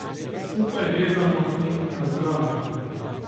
Skupaj gledamo in razglabljamo.